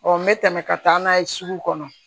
n bɛ tɛmɛ ka taa n'a ye sugu kɔnɔ